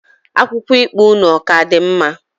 Akwụkwọ ikpe unu, ọ ka dị mma?